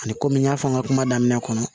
Ani kɔmi n y'a fɔ n ka kuma daminɛ kɔnɔ